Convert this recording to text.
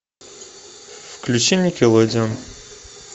включи никелодеон